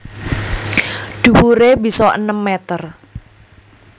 Dhuwuré bisa enem meter